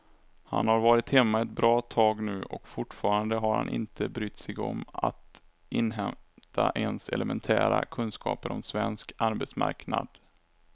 Han har varit hemma ett bra tag nu och fortfarande har han inte brytt sig om att inhämta ens elementära kunskaper om svensk arbetsmarknad.